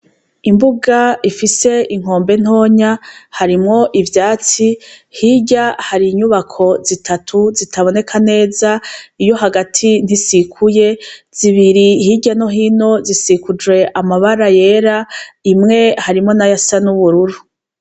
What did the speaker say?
Imbuga ifise inkombe ntonya harimwo ivyatsi hirya hari inyubako zitatu zitaboneka neza iyo hagati ntisikuye zibiri hirya no hino zisikuje amabara yera imwe harimo nayasa n'ubururu.